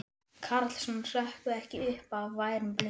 Karlsson hrökkvi ekki upp af værum blundi.